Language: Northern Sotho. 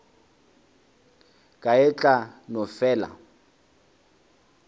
ka e tla no fela